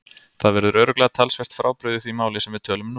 Það verður örugglega talsvert frábrugðið því máli sem við tölum nú.